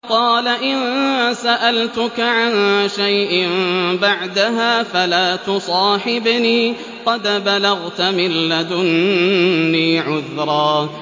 قَالَ إِن سَأَلْتُكَ عَن شَيْءٍ بَعْدَهَا فَلَا تُصَاحِبْنِي ۖ قَدْ بَلَغْتَ مِن لَّدُنِّي عُذْرًا